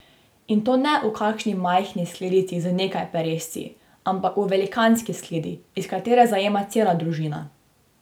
In to ne v kakšni majhni skledici z nekaj peresci, ampak v velikanski skledi, iz katere zajema cela družina.